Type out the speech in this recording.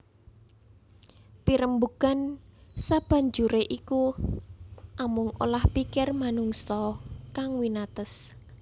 Pirembugan sabanjuré iku amung olah pikir manungsa kang winates